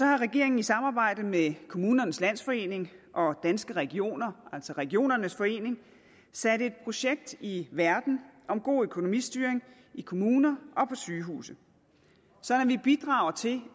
har regeringen i samarbejde med kommunernes landsforening og danske regioner altså regionernes forening sat et projekt i verden om god økonomistyring i kommuner og på sygehuse sådan at vi bidrager til